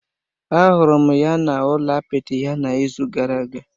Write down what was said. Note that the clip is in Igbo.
Ahụrụ m ya n’ụlọ apịtị ya n’izu gara aga